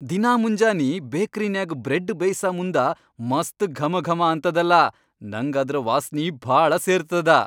ದಿನಾ ಮುಂಜಾನಿ ಬೇಕ್ರಿನ್ಯಾಗ್ ಬ್ರೆಡ್ ಬೇಯ್ಸಮುಂದ ಮಸ್ತ್ ಘಮಘಮಾ ಅಂತದಲಾ ನಂಗ್ ಅದ್ರ ವಾಸ್ನಿ ಭಾಳ ಸೇರ್ತದ.